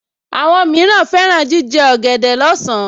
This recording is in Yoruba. Àwọn mìíràn fẹ́ràn jíjẹ ọ̀gẹ̀dẹ̀ lọ́sàn-án